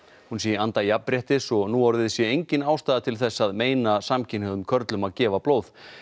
hún sé í anda jafnréttis og núorðið sé engin ástæða til þess að meina samkynhneigðum körlum að gefa blóð